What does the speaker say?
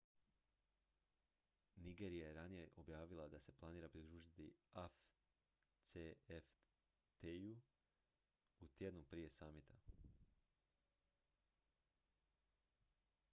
nigerija je ranije objavila da se planira pridružiti afcfta-i u tjednu prije samita